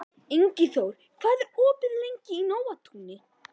Ingiþór, hvað er opið lengi í Nóatúni?